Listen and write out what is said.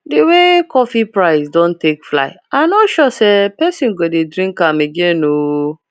the way coffee price don take fly i no sure say person go dey drink am again ooo